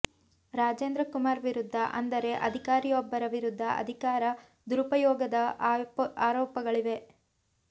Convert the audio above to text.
ರಾಜೇಂದ್ರ ಕುಮಾರ್ ವಿರುದ್ಧ ಅಂದರೆ ಅಧಿಕಾರಿಯೊಬ್ಬರ ವಿರುದ್ಧ ಅಧಿಕಾರ ದುರುಪಯೋಗದ ಆರೋಪಗಳಿವೆ